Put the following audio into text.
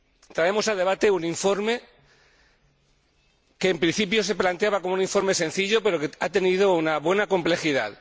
Traemos a debate un informe que, en principio, se planteaba como un informe sencillo, pero que ha tenido una gran complejidad